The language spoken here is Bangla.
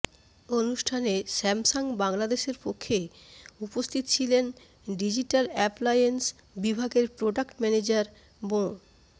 অনুষ্ঠানে স্যামসাং বাংলাদেশের পক্ষে উপস্থিত ছিলেন ডিজিটাল অ্যাপ্লায়েন্স বিভাগের প্রোডাক্ট ম্যানেজার মো